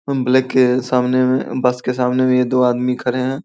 Black के सामने मे बस के सामने मे दो आदमी खड़े है।